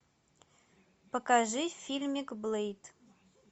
покажи фильмик блэйд